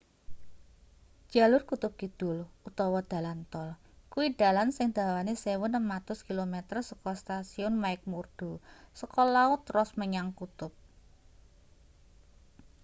jalur kutub kidul utawa dalan tol kuwi dalan sing dawane 1600km saka stasiun mcmurdo saka laut ross menyang kutub